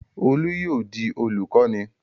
Olú yóò di olùkọ́ní!